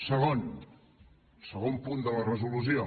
segon el segon punt de la resolució